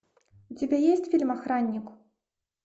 у тебя есть фильм охранник